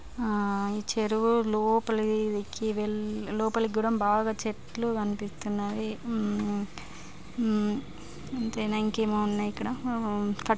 ఆ చెరువు లోపలికి ధురం బాగా చెట్లు కనబడుతుంది. హ్మ్మ్ అంటే ఇంకేమైనా ఉన్నాయా ఇక్కడ--